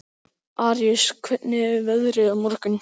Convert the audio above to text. Aríus, hvernig er veðrið á morgun?